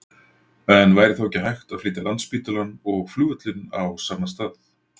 En væri þá ekki hægt að flytja Landspítalann og flugvöllinn á sama stað?